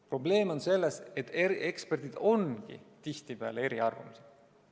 Probleem on selles, et eri eksperdid ongi tihtipeale eri arvamusel.